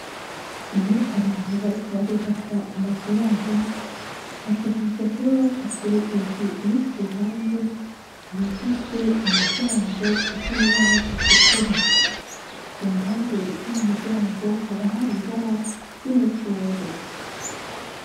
Iyo abantu bariko barubaka amazu yabo, bategerezwa kuba bafise inzu iri ku ruhande, yugajwe umuryango usa n'ibara itukura, ku mpande z'uwo muryango haba hari ibara ry'umucungwe.